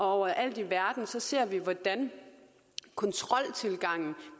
overalt i verden ser vi hvordan kontroltilgangen